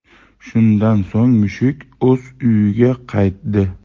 Shundan so‘ng mushuk o‘z uyiga qaytdi.